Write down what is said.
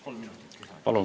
Palun!